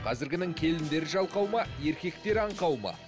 қазіргінің келіндері жалқау ма еркектері аңқау ма